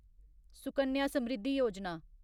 Sukanya Samriddhi Yojana